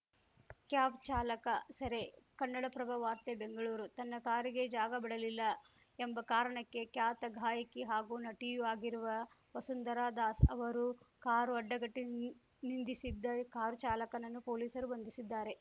cab ಚಾಲಕ ಸೆರೆ ಕನ್ನಡಪ್ರಭ ವಾರ್ತೆ ಬೆಂಗಳೂರು ತನ್ನ ಕಾರಿಗೆ ಜಾಗ ಬಿಡಲಿಲ್ಲ ಎಂಬ ಕಾರಣಕ್ಕೆ ಖ್ಯಾತ ಗಾಯಕಿ ಹಾಗೂ ನಟಿಯೂ ಆಗಿರುವ ವಸುಂಧರಾ ದಾಸ್‌ ಅವರು ಕಾರು ಅಡ್ಡಗಟ್ಟಿನ್ ನಿಂದಿಸಿದ್ದ ಕಾರು ಚಾಲಕನನ್ನು ಪೊಲೀಸರು ಬಂಧಿಸಿದ್ದಾರೆ